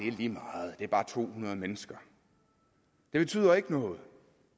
er lige meget det er bare to hundrede mennesker det betyder ikke noget